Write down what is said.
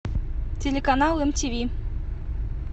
телеканал мтв